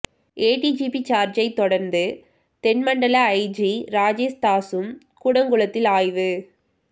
ADGP ஜார்ஜைத் தொடர்ந்து தென் மண்டல ஐஜி ராஜேஷ் தாஸும் கூடங்குளத்தில் ஆய்வு